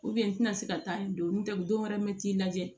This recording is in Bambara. n tɛna se ka taa nin don n tɛ dɔwɛrɛ mɛn t'i lajɛ